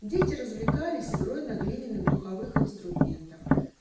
дети развлекались игрой на глиняных духовых инструментах